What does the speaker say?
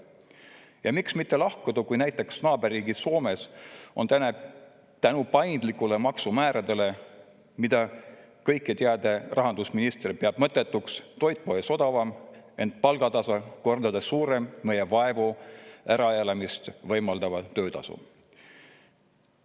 Ja miks mitte lahkuda, kui näiteks naaberriigis Soomes on tänu paindlikele maksumääradele, mida kõiketeadev rahandusminister peab mõttetuks, toit poes odavam, ent palgatase kordades suurem meie vaevu äraelamist võimaldavast töötasust.